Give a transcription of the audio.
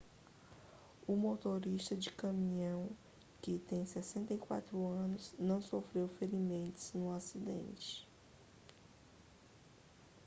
o motorista de caminhão que tem 64 anos não sofreu ferimentos no acidente